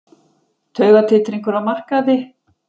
Taugatitringur á markaði